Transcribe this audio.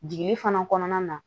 Jiginni fana kɔnɔna na